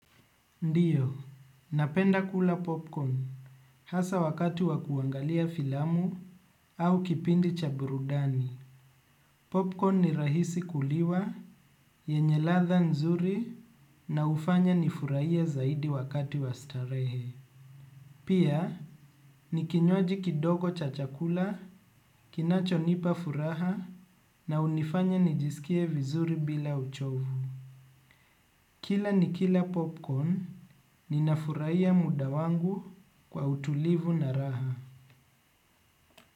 Ndio, napenda kula popcorn hasa wakati wa kuangalia filamu au kipindi cha burudani. Popcorn ni rahisi kuliwa, yenye ladha nzuri na hufanya nifurahie zaidi wakati wa starehe. Pia, ni kinywaji kidogo cha chakula, kinachonipa furaha na hunifanya nijisikie vizuri bila uchovu. Kila nikila popcorn, ninafurahia muda wangu kwa utulivu na raha.